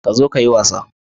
Ka zo ka yi wasa